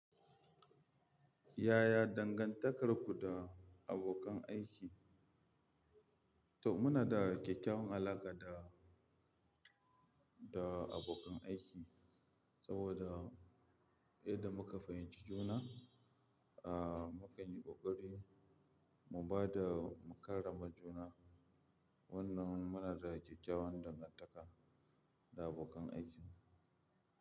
Yaya dangantakarku da abokan aiki? To muna da kyakyawan alaƙa da, da abokan aiki, saboda yadda muka fahimci juna, mukanyi ƙoƙari mu bada mu karrama juna. Wannan munada kyakyawan dangantaka da abokan aikin.